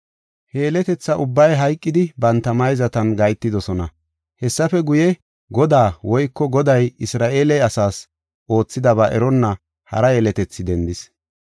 He yeletetha ubbay hayqidi banta mayzatan gahetidosona. Hessafe guye Godaa woyko Goday Isra7eele asaas oothidaba eronna hara yeletethi dendis.